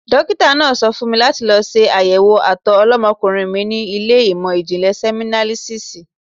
Dókítà náà sọ fún mi láti lọ ṣe àyẹ̀wò àtọ̀ ọlọ́mọkùnrin mi ní ilé ìmò ìjìnlè sẹmínálísísì.